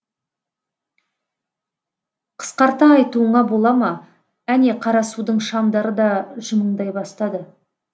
қысқарта айтуыңа бола ма әне қарасудың шамдары да жымыңдай бастады